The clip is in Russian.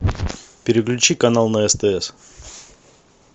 переключи канал на стс